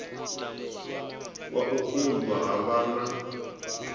wa u unḓwa ha vhana